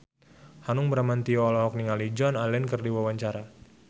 Hanung Bramantyo olohok ningali Joan Allen keur diwawancara